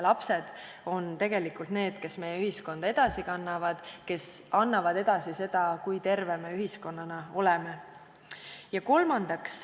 Lapsed on need, kes meie ühiskonda edasi kannavad, kes annavad edasi seda, kui terved me ühiskonnana oleme.